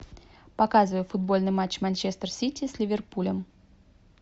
показывай футбольный матч манчестер сити с ливерпулем